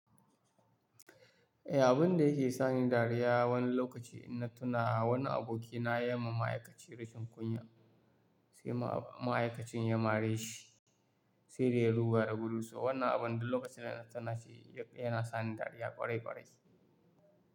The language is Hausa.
Abunda yake sani dariya wani lokaci in na tuna, wani abokina yama ma'aikaci rashin kunya, sai ma'aikacin ya mare shi, sai da ya ruga da gudu. Wannan abun duk lokacin da na tuna shi yana sani dariya kwarai kwarai.